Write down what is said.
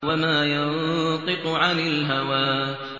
وَمَا يَنطِقُ عَنِ الْهَوَىٰ